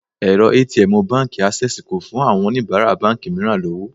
Èrọ ATM Báńkì Ásẹ́sìì kò fún àwọn oníbàárà báńkì mìíràn lọ́wọ́.